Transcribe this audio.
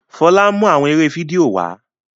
Fola n mú awọn eré fídíò wá